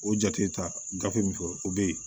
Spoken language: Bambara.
O jate ta gafe min fɔ o bɛ ye